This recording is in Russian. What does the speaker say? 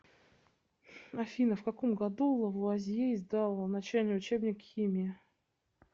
афина в каком году лавуазье издал начальный учебник химии